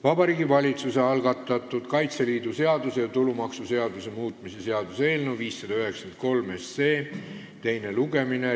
Vabariigi Valitsuse algatatud Kaitseliidu seaduse ja tulumaksuseaduse muutmise seaduse eelnõu 593 teine lugemine.